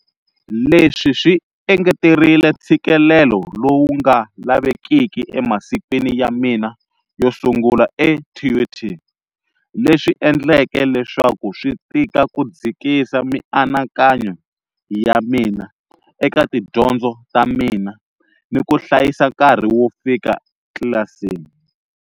Leswi swi engeterile ntshikelelo lowu nga lavekiki emasikwin ya mina yo sungula eTUT, leswi endleke leswaku swi tika ku dzikisa mianakanyo ya mina eka tidyondzo ta mina ni ku hlayisa nkarhi wo fika tlilasini.